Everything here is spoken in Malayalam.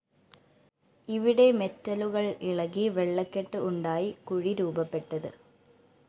ഇവിടെ മെറ്റലുകള്‍ ഇളകി വെള്ളക്കെട്ട് ഉണ്ടായി കുഴി രൂപപ്പെട്ടത്